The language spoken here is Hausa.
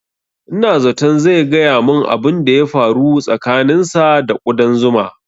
Ina zaton zai gaya mun abun da ya faru tsakanin sa da ƙudan zuma